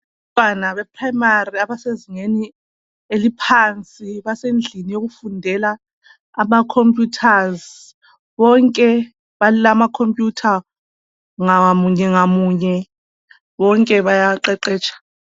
Ntwana beprimary abasezingeni eliphansi basendlini yokufundela ama computers. Bonke balama computer ngamunye ngamunye, bonke bayaqeqetsha.